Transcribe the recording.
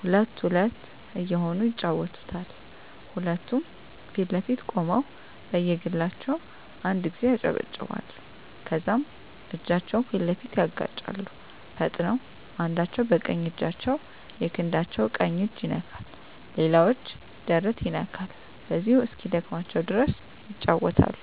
ሁለት ሁለት እየሆኑ ይጫወቱታል ሁለቱም ፊት ለፊት ቆመው በየግላቸው አንድ ጊዜ ያጨበጭባሉ ከዛም እጃቸውን ፊት ለፊት ያጋጫሉ ፈጥነው አንዳቸው በቀኝ እጃቸው የክንዳቸው ቀኝ እጅ ይነካል ሌላኛው እጅ ደረት ይነካል በዚሁ እስኪደክማቸው ድረስ ይጫወታሉ።